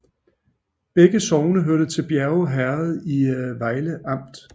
Begge sogne hørte til Bjerre Herred i Vejle Amt